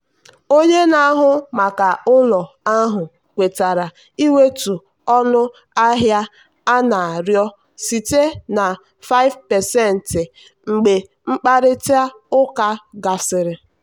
onye na-ahụ maka ụlọ ahụ kwetara iwetu ọnụ ahịa a na-arịọ site na 5% mgbe mkparịta ụka gasịrị.